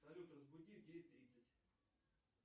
салют разбуди в девять тридцать